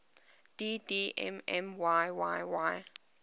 dd mm yyyy